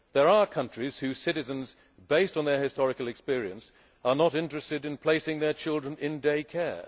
There are countries whose citizens, based on their historical experience, are not interested in placing their children in day care'.